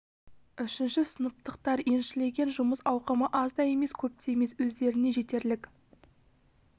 үшінші сыныптықтар еншілеген жұмыс ауқымы аз да емес көп те емес өздеріне жетерлік